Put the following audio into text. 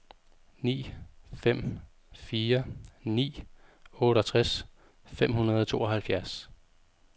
ni fem fire ni otteogtres fem hundrede og tooghalvfjerds